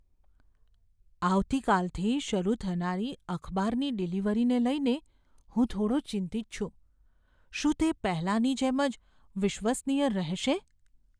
આવતીકાલથી શરૂ થનારી અખબારની ડિલિવરીને લઈને હું થોડો ચિંતિત છું. શું તે પહેલાની જેમ જ વિશ્વસનીય રહેશે?